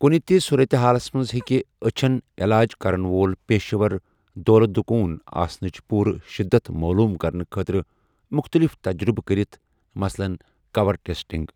کُنہِ تہِ صوٗرتہِ حالس منٛز ہیٚکہِ أچھن یلاج كرن وول پیشہٕ ور دولہٕ دُكون آسنٕچ پوٗرٕ شِدت معلوٗم کرنہٕ خٲطرٕ مُختٔلِف تجزِیہ کٔرِتھ، مثلاً کَور ٹیٚسٹِنٛگ۔